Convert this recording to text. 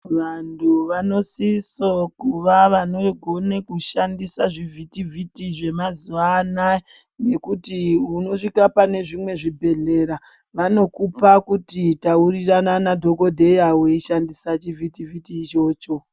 Vantu vanosiso kuva vanogona kushandisa zvivhiti vhiti zvemazuva anaya ngekuti unosvika pane zvimwe zvibhedhleya vanokupa kuti taurirana nadhokodheya weishandisa chivhiti vhiti ichocho.